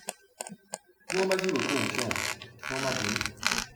bí wọn bá sì rò pé òun ṣe wọn kí wọn má bínú